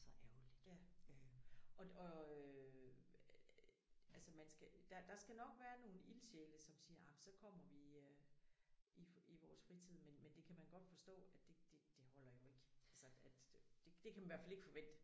Og det øh altså man skal der der skal nok være nogle ildsjæle som siger ej men så kommer vi i øh i i vores fritid men men det kan man godt forstå at det det det holder jo ikke altså at det kan man i hvert fald ikke forvente